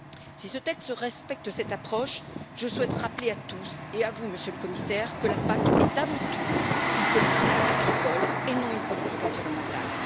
Si ce texte respecte cette approche, je souhaite rappeler à tous et à vous, Monsieur le Commissaire, que la PAC est avant tout une politique agricole et non une politique environnementale.